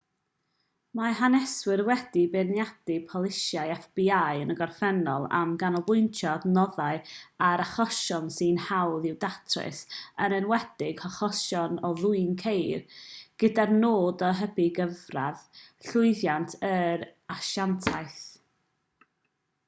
mae haneswyr wedi beirniadu polisïau fbi yn y gorffennol am ganolbwyntio adnoddau ar achosion sy'n hawdd i'w datrys yn enwedig achosion o ddwyn ceir gyda'r nod o hybu cyfradd llwyddiant yr asiantaeth